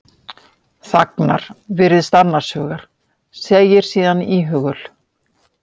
Þagnar, virðist annars hugar, segir síðan íhugul